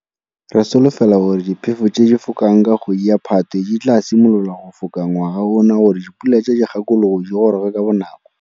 Re solofela gore diphefo tse di fokang ka kgwedi ya Phatwe di tlaa simolola go foka ngwaga ona gore dipula tsa Dikgakologo di goroge ka bonako.